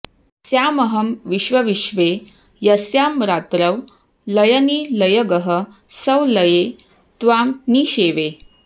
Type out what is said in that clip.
स्यामहं विश्वविश्वे यस्यां रात्रौ लयनिलयगः संलये त्वां निषेवे